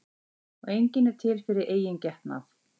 Og enginn er til fyrir eigin getnað.